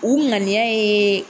U ŋaniya ye